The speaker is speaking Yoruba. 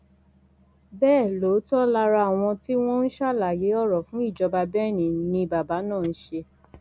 bẹẹ lóòótọ lára àwọn tí wọn ń ṣàlàyé ọrọ fún ìjọba benne ni bàbá náà ń ṣe